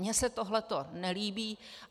Mně se tohleto nelíbí.